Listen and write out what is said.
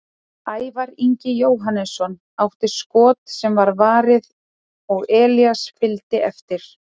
Ævar Ingi Jóhannesson átti skot sem var varið og Elías fylgdi eftir.